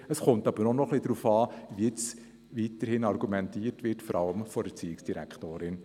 Allerdings kommt es jetzt auch noch etwas darauf an, wie weiter argumentiert wird, vor allem vonseiten der Erziehungsdirektorin.